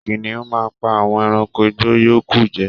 Kìnìún máà ń pa àwọn ẹranko igbó yòókù jẹ